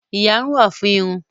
Ìyárún wà fún irun.